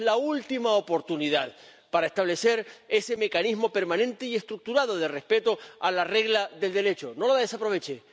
Tenemos la última oportunidad para establecer ese mecanismo permanente y estructurado de respeto a la regla del Derecho, ¡no la desaprovechen!